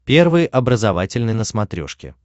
первый образовательный на смотрешке